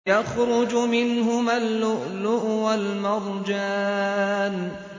يَخْرُجُ مِنْهُمَا اللُّؤْلُؤُ وَالْمَرْجَانُ